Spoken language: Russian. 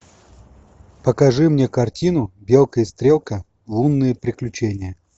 покажи мне картину белка и стрелка лунные приключения